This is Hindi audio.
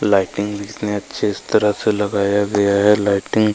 लाइटिंग इतना अच्छे तरह से लगा हुआ है लाइटिंग --